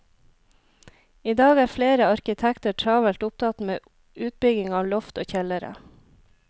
I dag er flere arkitekter travelt opptatt med utbygging av loft og kjellere.